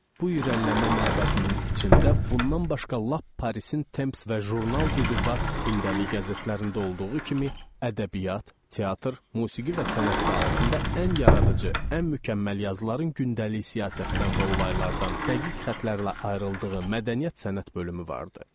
Bu irəliləmə məbədinin içində bundan başqa lap Parisin Temps və jurnal Düdüba günlük qəzetlərində olduğu kimi, ədəbiyyat, teatr, musiqi və sənət sahəsində ən yaradıcı, ən mükəmməl yazıların gündəlik siyasətdən və olaylardan dəqiq xətlərlə ayrıldığı mədəniyyət-sənət bölümü vardı.